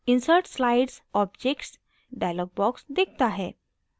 insert slides/objects dialog box दिखता है